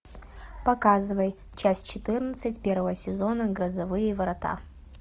показывай часть четырнадцать первого сезона грозовые ворота